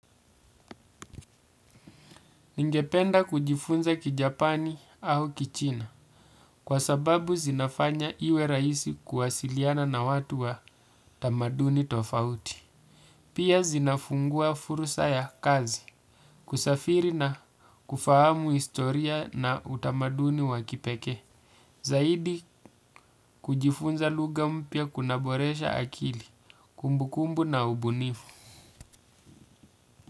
Ningependa kujifunza kijapani au kichina, kwa sababu zinafanya iwe rahisi kuwasiliana na watu wa tamaduni tofauti. Pia zinafungua fursa ya kazi, kusafiri na kufahamu historia na utamaduni wa kipekee. Zaidi kujifunza lugha mpya kunaboresha akili, kumbukumbu na ubunifu.